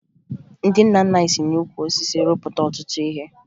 Ndị nna nna anyị si n'ukwu osisi rụpụta ọtụtụ ihe